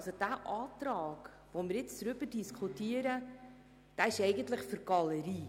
Der Antrag, über den wir jetzt diskutieren, ist für die Galerie.